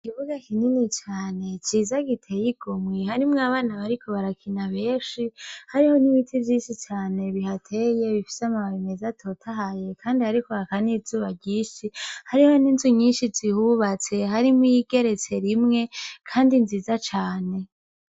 Ikibuga kinini cane ciza giteye igomwi harimwo abana bariko barakina beshi hariho n'ibiti vy'isi cane bihateye bifise amababe meza totahaye, kandi hariko hakanizuba ryishi hariho n'inzu nyinshi zihubatse harimwo igeretse rimwe, kandi nziza cane.